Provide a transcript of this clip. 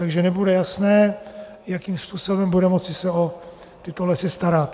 Takže nebude jasné, jakým způsobem bude moci se o tyto lesy starat.